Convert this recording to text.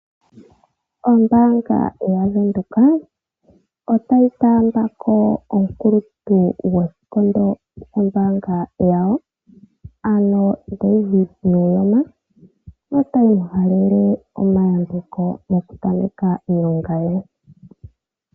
Ombaanga yaVenduka otayi taamba ko omukuluntu gwoshikondo shombaanga yawo ano David Nuyoma notayi mu halele omayambeko moku tameka iilonga ye.